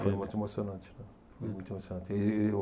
Foi muito emocionante, né. Muito emocionante, ele